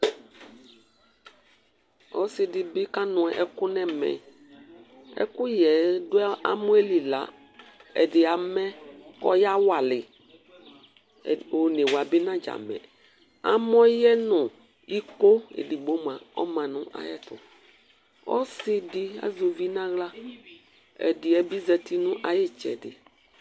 Ɔsɩ dɩ bɩ kanʋ ɛkʋ nʋ ɛmɛ Ɛkʋyɛ yɛ dʋ amɔ yɛ li la, ɛdɩ amɛ kʋ ɔyawalɩ yɩ Onewa bɩ nadzamɛ Amɔ yɛ nʋ iko edigbo mʋa, ɔma nʋ ayɛtʋ Ɔsɩ dɩ azɛ uvi nʋ aɣla, ɛdɩ yɛ bɩ zati nʋ ayʋ ɩtsɛdɩ